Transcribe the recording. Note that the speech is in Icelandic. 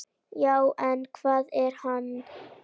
Já, en hver er hann?